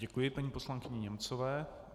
Děkuji paní poslankyni Němcové.